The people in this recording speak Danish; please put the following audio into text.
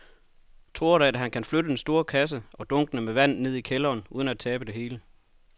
Tror du, at han kan flytte den store kasse og dunkene med vand ned i kælderen uden at tabe det hele?